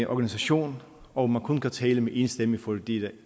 organisation og man kun kan tale med én stemme fordi det